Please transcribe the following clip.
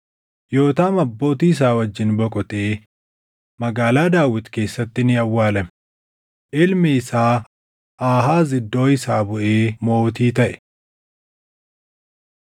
Yootaam abbootii isaa wajjin boqotee Magaalaa Daawit keessatti ni awwaalame. Ilmi isaa Aahaaz iddoo isaa buʼee mootii taʼe.